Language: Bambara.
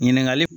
Ɲininkali